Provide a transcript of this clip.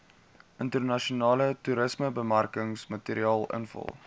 internasionale toerismebemarkingsmateriaal invul